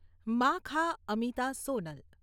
મા.ખા.અમિતા, Sonal